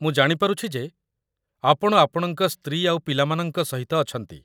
ମୁଁ ଜାଣିପାରୁଛି ଯେ ଆପଣ ଆପଣଙ୍କ ସ୍ତ୍ରୀ ଆଉ ପିଲାମାନଙ୍କ ସହିତ ଅଛନ୍ତି ।